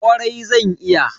Kwarai zan iya.